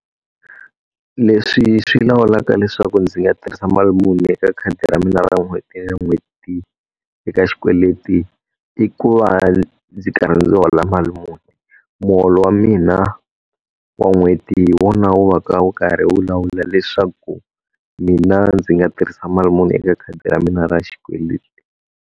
Leswi swi lawulaka leswaku ndzi nga tirhisa mali muni eka khadi ra mina ra n'hweti na n'hweti eka xikweleti, i ku va ndzi karhi ndzi hola mali muni. Muholo wa mina wa n'hweti hi wona wu va ka wu karhi wu lawula leswaku mina ndzi nga tirhisa mali muni eka khadi ra mina ra xikweleti.